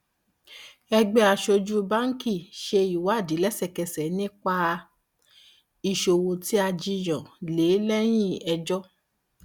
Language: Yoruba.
ẹgbẹ aṣojú báńkì ṣe ìwádìí lẹsẹkẹsẹ nípa ìṣòwò tí a jiyàn lé lẹyìn ẹjọ